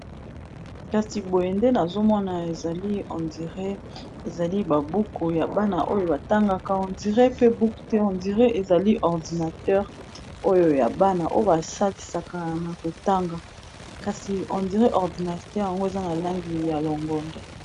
kasi boye nde nazomona ezali hendire ezali babuku ya bana oyo batangaka ondire pe buku te hondire ezali ordinateur oyo ya bana oyo basalisaka na kotanga kasi hondire ordinateur yango eza na langi ya longondo